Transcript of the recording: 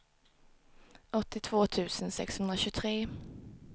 åttiotvå tusen sexhundratjugotre